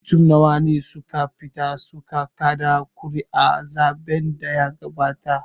Mutum nawa ne suka fita su ka kaɗa ƙuri'a a zaɓen da ya gabata?